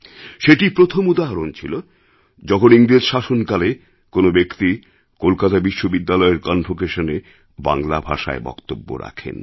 সেটিই প্রথম উদাহরণ ছিল যখন ইংরেজ শাসনকালে কোনও ব্যক্তি কলকাতা বিশ্ববিদ্যালয়ের কনভোকেশনে বাংলা ভাষায় বক্তব্য রাখেন